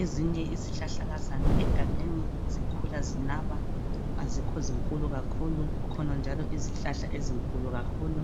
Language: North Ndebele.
Ezinye izihlahlakazana egangeni zikhula zinaba. Azikho zinkulu kakhulu. Kukhona njalo izihlahla ezinkulu kakhulu,